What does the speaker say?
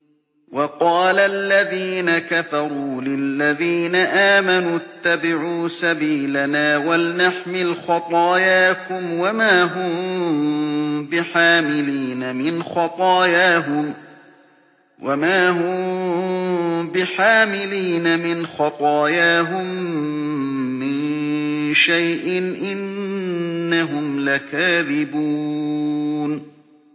وَقَالَ الَّذِينَ كَفَرُوا لِلَّذِينَ آمَنُوا اتَّبِعُوا سَبِيلَنَا وَلْنَحْمِلْ خَطَايَاكُمْ وَمَا هُم بِحَامِلِينَ مِنْ خَطَايَاهُم مِّن شَيْءٍ ۖ إِنَّهُمْ لَكَاذِبُونَ